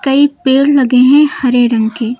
कई पेड़ लगे हैं हरे रंग के।